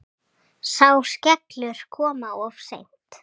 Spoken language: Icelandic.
Sá skellur kom of seint.